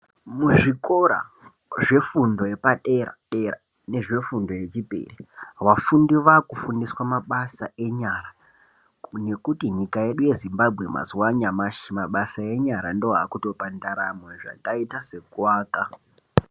Muzvikora zvefundo yepadera-dera nezvefundo yechipiri vafundi vakufundiswe mabasa enyara ngekuti nyika yedu yeZimbabwe mazuva anyamashi mabasa enyara ndoakutopa ndaramo akaita seku aka.